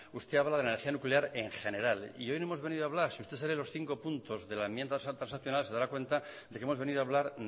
usted habla de la energía nuclear en general y hoy no hemos venido a hablar si usted se lee los cinco puntos de la enmienda transaccional se dará cuenta de que hemos venido hablar